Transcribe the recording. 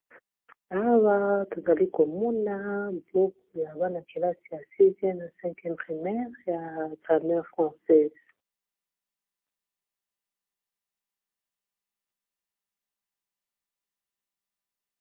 Awa tozali komona buku ya bana-kelasi ya 6eme na 5eme primaire ya grammaire française.